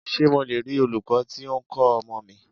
Ṣé mo le rí olūkọ́ tí o ń kọ́ ọmọ mi?